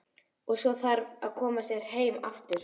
Og svo þarf að koma sér heim aftur.